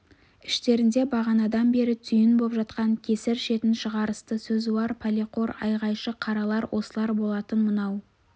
іштерінде бағанадан бері түйін боп жатқан кесір шетін шығарысты сөзуар пәлеқор айғайшы қаралар осылар болатын мынау